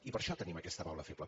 i per això tenim aquesta baula feble